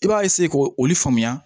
I b'a k'o olu faamuya